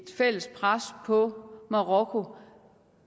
fælles pres på marokko